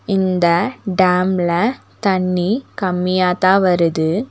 இந்த டேம்ல தண்ணி கம்மியாத்தான் வருது.